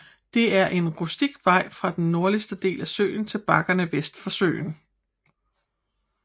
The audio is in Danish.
Der er en rustik vej fra den nordlige del af søen til bakkerne vest for søen